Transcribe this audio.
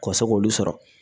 Ka se k'olu sɔrɔ